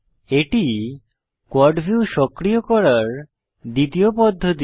এটি quad view সক্রিয় করার দ্বিতীয় পদ্ধতি